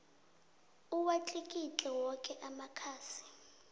awatlikitle woke amakhasi